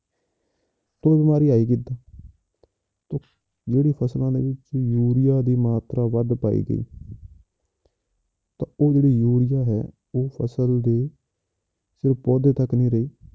ਤੇ ਇਹ ਬਿਮਾਰੀ ਆਈ ਕਿੱਦਾਂ ਤੇ ਜਿਹੜੀ ਫਸਲਾਂ ਦੇ ਵਿੱਚ ਯੂਰੀਆ ਦੀ ਮਾਤਰਾ ਵੱਧ ਪਾਈ ਗਈ ਤਾਂ ਉਹ ਜਿਹੜੀ ਯੂਰੀਆ ਹੈ ਉਹ ਫਸਲ ਦੇ ਸਿਰਫ਼ ਪੌਦੇ ਤੱਕ ਨੀ ਰਹੀ